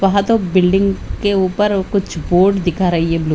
वहा दो बिल्डिंग के ऊपर कुछ बोर्ड दिखा रही है ब्लू --